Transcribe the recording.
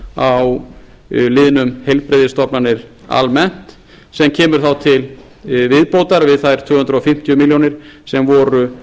króna hækkun á liðnum heilbrigðisstofnanir almennt sem kemur þá til viðbótar við þær tvö hundruð fimmtíu milljónir króna sem voru